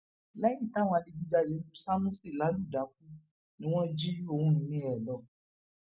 lẹyìn táwọn adigunjalè lu sámúsì lálù dákú ni wọn jí ohun ìní ẹ lọ